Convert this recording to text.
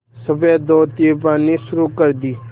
सफ़ेद धोती पहननी शुरू कर दी